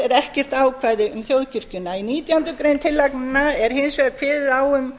ekkert ákvæði um þjóðkirkjuna í nítjánda grein tillagnanna er hins vegar kveðið á um